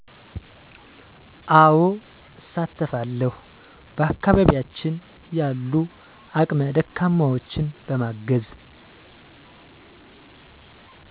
አወ እሳተፋለዉ በአከባቢያችን ያሉ አቅመ ደካማወችን በማገዝ